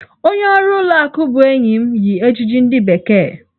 Onye ọrụ ụlọ akụ ahụ bụ enyi m yi ejiji ndị bekee.